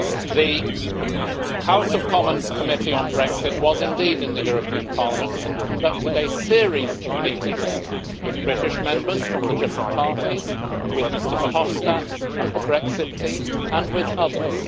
The House of Commons Committee on Brexit was indeed in the European Parliament and conducted a series of meetings with British Members from the different parties, with Mr Verhofstadt and the Brexit team, and with others.